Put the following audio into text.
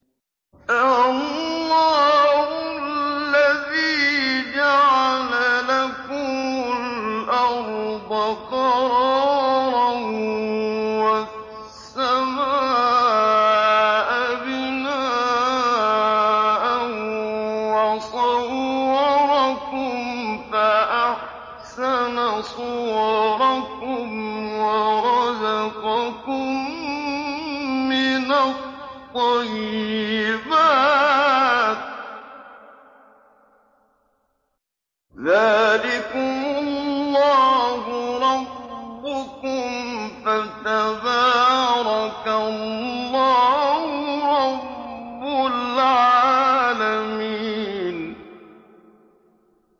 اللَّهُ الَّذِي جَعَلَ لَكُمُ الْأَرْضَ قَرَارًا وَالسَّمَاءَ بِنَاءً وَصَوَّرَكُمْ فَأَحْسَنَ صُوَرَكُمْ وَرَزَقَكُم مِّنَ الطَّيِّبَاتِ ۚ ذَٰلِكُمُ اللَّهُ رَبُّكُمْ ۖ فَتَبَارَكَ اللَّهُ رَبُّ الْعَالَمِينَ